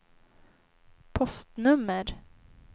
postnummer